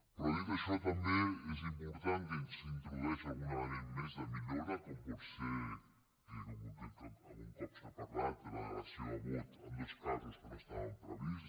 però dit això també és important que s’introdueix algun element més de millora com pot ser algun cop se n’ha parlat la delegació de vot en dos casos que no estaven previstos